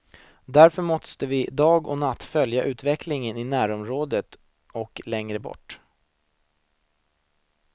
Därför måste vi dag och natt följa utvecklingen i närområdet och längre borta.